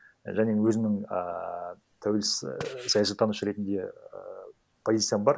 және өзімнің ааа тәуелсіз саясаттанушы ретінде і позициям бар